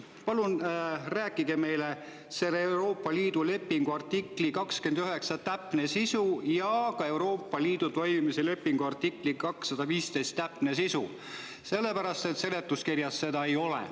Palun rääkige meile, mis on Euroopa Liidu lepingu artikli 29 täpne sisu ja ka Euroopa Liidu toimimise lepingu artikli 215 täpne sisu, sellepärast et seletuskirjas seda ei ole.